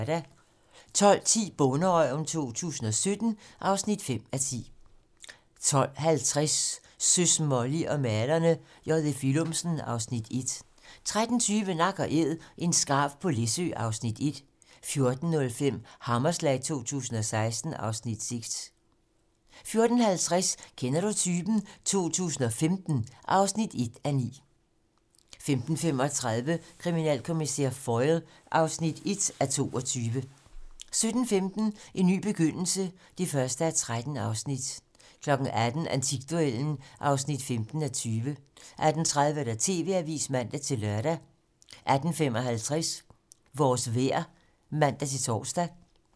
12:10: Bonderøven 2017 (5:10) 12:50: Søs, Molly og malerne - J.F. Willumsen (Afs. 1) 13:20: Nak & æd - en skarv på Læsø (Afs. 1) 14:05: Hammerslag 2016 (Afs. 6) 14:50: Kender du typen? 2015 (1:9) 15:35: Kriminalkommissær Foyle (1:22) 17:15: En ny begyndelse (1:13) 18:00: Antikduellen (15:20) 18:30: TV-Avisen (man-lør) 18:55: Vores vejr (man-tor)